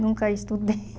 Nunca estudei.